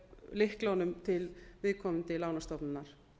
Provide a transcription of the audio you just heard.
lyklunum til viðkomandi lánastofnunar